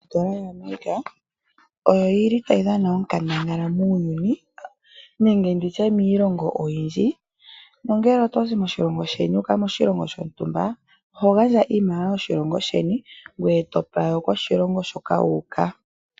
Odola yaAmerica otayi dhana onkandangala muuyuni nenge miilongo oyindji. Ngele oto zi moshilongo sheni wu uka moshilongo shontumba oho gandja iimaliwa yoshilongo sheni ngoye to pewa yokoshilongo hoka wu uka.